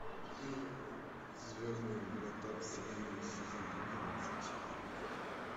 звездные врата вселенной сезон одиннадцать